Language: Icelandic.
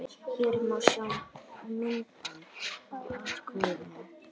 Hér má sjá myndband af atvikinu